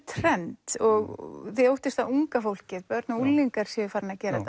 trend og þið óttist að unga fólkið börn og unglingar séu farin að gera